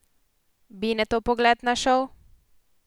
Binetov pogled na šov?